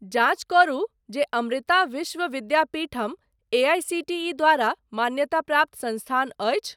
जाँच करू जे अमृता विश्व विद्यापीठम एआईसीटीई द्वारा मान्यताप्राप्त संस्थान अछि ?